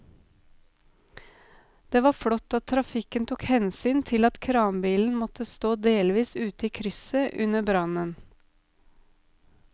Det var flott at trafikken tok hensyn til at kranbilen måtte stå delvis ute i krysset under brannen.